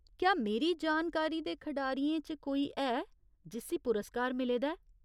क्या मेरी जानकारी दे खढारियें च कोई है जिस्सी पुरस्कार मिले दा ऐ?